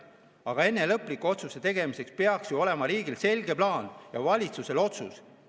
Aga enne lõpliku otsuse tegemist peaks ju olema riigil selge plaan ja valitsusel otsus.